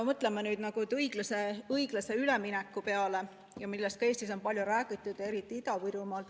Mõtleme õiglase ülemineku peale, millest ka Eestis on palju räägitud, eriti Ida-Virumaal.